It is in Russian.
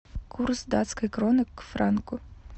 курс датской кроны к франку